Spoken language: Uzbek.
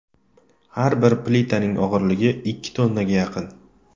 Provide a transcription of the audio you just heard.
Har bir plitaning og‘irligi ikki tonnaga yaqin.